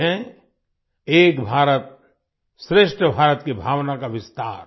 ये है एक भारतश्रेष्ठ भारत की भावना का विस्तार